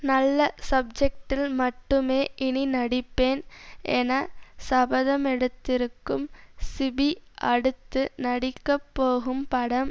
நல்ல சப்ஜெக்டில் மட்டுமே இனி நடிப்பேன் என சபதமெடுத்திருக்கும் சிபி அடுத்து நடிக்கப் போகும் படம்